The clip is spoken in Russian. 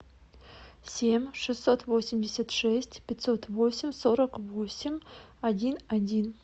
семь шестьсот восемьдесят шесть пятьсот восемь сорок восемь один один